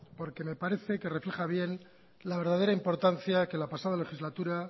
porque me parece que refleja bien la verdadera importancia que la pasada legislatura